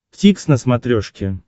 дтикс на смотрешке